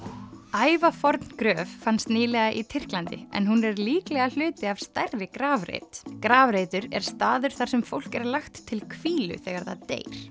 ævaforn gröf fannst nýlega í Tyrklandi en hún er líklega hluti af stærri grafreit grafreitur er staður þar sem fólk er lagt til hvílu þegar það deyr